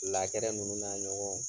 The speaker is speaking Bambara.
ninnu na ɲɔgɔnw